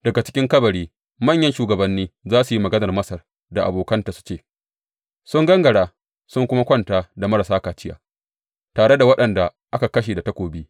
Daga cikin kabari manyan shugabanni za su yi maganar Masar da abokanta su ce, Sun gangara sun kuma kwanta da marasa kaciya, tare da waɗanda aka kashe da takobi.’